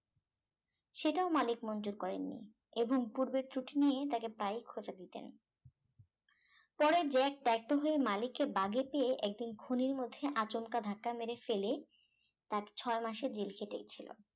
সেটাও মালিক মঞ্জুর করেন নি এবং পূর্বের ত্রুটি নিয়ে তাকে প্রায় খোঁচা দিতেন পরে জ্যাক ত্যাক্ত হয়ে মালিকে বাগে পেয়ে একদিন খনির মধ্যে আচমকা ধাক্কা মেরে ফেলে তাকে ছয় মাসের জেল খেটেছিল